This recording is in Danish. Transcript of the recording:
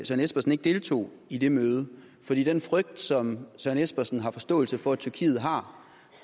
søren espersen ikke deltog i det møde fordi den frygt som søren espersen har forståelse for at tyrkiet har